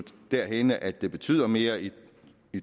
derhenne at det betyder mere i